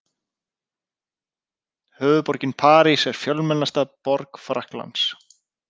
Höfuðborgin París er fjölmennasta borg Frakklands.